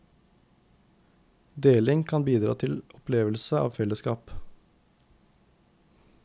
Deling kan bidra til opplevelse av fellesskap.